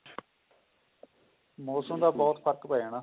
ਮੋਸਮ ਦਾ ਬਹੁਤ ਫਰਕ ਪੈ ਜਾਣਾ